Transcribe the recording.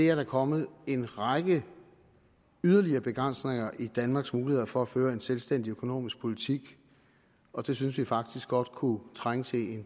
er der kommet en række yderligere begrænsninger i danmarks mulighed for at føre en selvstændig økonomisk politik og det synes vi faktisk godt kunne trænge til